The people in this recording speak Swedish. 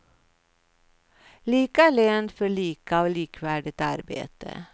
Lika lön för lika och likvärdigt arbete.